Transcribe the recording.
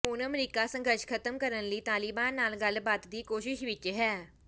ਹੁਣ ਅਮਰੀਕਾ ਸੰਘਰਸ਼ ਖ਼ਤਮ ਕਰਨ ਲਈ ਤਾਲਿਬਾਨ ਨਾਲ ਗੱਲਬਾਤ ਦੀ ਕੋਸ਼ਿਸ਼ ਵਿੱਚ ਹੈ